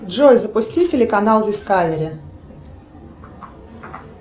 джой запусти телеканал дискавери